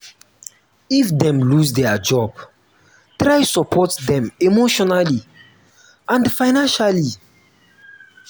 if dem loose their job try support dem emotionally and financially